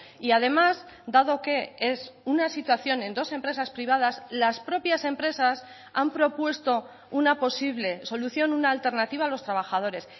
y además dado que es una situación en dos empresas privadas las propias empresas han propuesto una posible solución una alternativa a los trabajadores